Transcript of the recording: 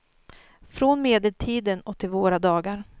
Från medeltiden och till våra dagar.